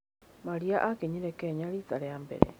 Maria akinyire Kenya riita rĩa mbere.